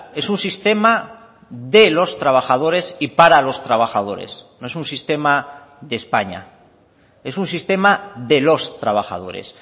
es un sistema de los trabajadores y para los trabajadores no es un sistema de españa es un sistema de los trabajadores